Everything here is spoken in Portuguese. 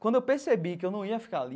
Quando eu percebi que eu não ia ficar ali...